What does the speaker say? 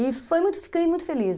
E fiquei muito feliz.